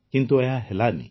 କିନ୍ତୁ ଏହା ହେଲାନି